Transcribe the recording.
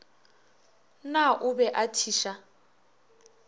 na o be a thiša